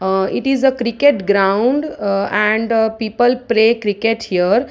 aa it is a cricket ground aa and people play cricket here.